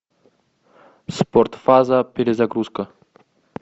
спортфаза перезагрузка